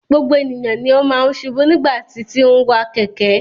Gbogbo ènìyàn ní máa n ṣubu nigbati ti n wa kẹkẹ.